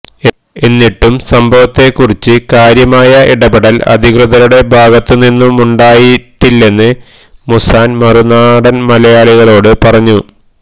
എന്നിട്ടും സംഭവത്തെക്കുറിച്ച് കാര്യമായ ഇടപെടൽ അധികൃതരുടെ ഭാഗത്തു നിന്നുണ്ടായിട്ടില്ലെന്ന് മൂസാൻ മറുനാടൻ മലയാളിയോട് പറഞ്ഞു